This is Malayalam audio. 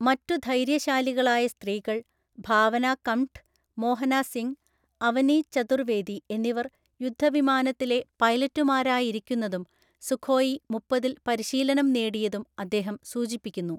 മറ്റു ധൈര്യശാലികളായ സ്ത്രീകള്‍, ഭാവനാ കംഠ്, മോഹനാ സിംഗ്, അവനീ ചതുര്‍ വ്വേദി എിന്നിവര്‍ യുദ്ധവിമാനത്തിലെ പൈലറ്റുമാരായിരിക്കുന്നതും സുഖോയി മുപ്പതില്‍ പരിശീലനം നേടുന്നതും അദ്ദേഹം സൂചിപ്പിക്കുന്നു.